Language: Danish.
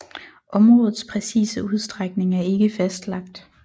Områdets præcise udstrækning er ikke fastlagt